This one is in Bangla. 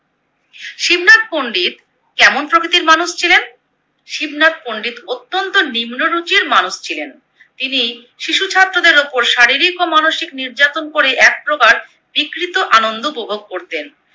শিবনাথ পন্ডিত কেমন প্রকৃতির মানুষ ছিলেন? শিবনাথ পন্ডিত অত্যন্ত নিম্ন রুচির মানুষ ছিলেন। তিনি শিশু ছাত্রদের উপর শারীরিক ও মানসিক নির্যাতন করে এক প্রকার বিকৃত আনন্দ উপভোগ করতেন।